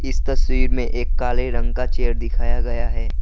इस तस्वीर में एक काले रंग का चेयर दिखाया गया है।